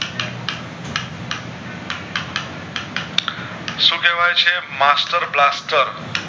શું કેવય છે Master Blaster